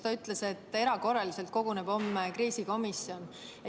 Ta ütles, et erakorraliselt koguneb homme kriisikomisjon.